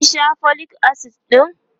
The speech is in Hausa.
kin Sha folic acid ɗin?